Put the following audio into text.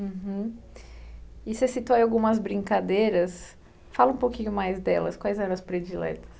Uhum, e você citou algumas brincadeiras, fala um pouquinho mais delas, quais eram as prediletas?